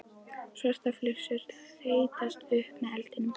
Svartar flygsur þeyttust upp með eldinum.